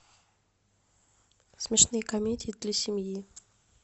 смешные комедии для семьи